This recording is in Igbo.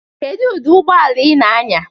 Kedụ ụdị ụgbọ ala ị na-anya?